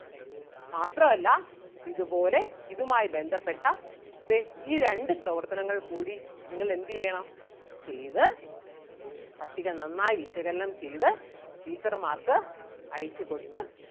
മാത്രം അല്ല ഇതുപോലെ ഇതുമായി ബന്ധപ്പെട്ട ദേ ഈ രണ്ടു പ്രവർത്തനങ്ങൾ കൂടി നിങ്ങൾ എന്ത് ചെയ്യണം ചെയ്‌ത്‌ പട്ടിക നന്നായി വിശകലനം ചെയ്‌ത്‌ teacher മാർക്ക് അയച്ചു കൊടുത്ത്